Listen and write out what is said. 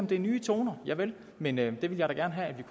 det er nye toner javel men jeg ville da gerne have at vi